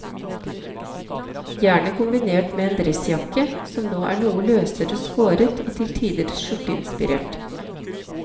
Gjerne kombinert med en dressjakke, som nå er noe løsere skåret og til tider skjorteinspirert.